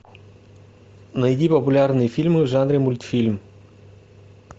найди популярные фильмы в жанре мультфильм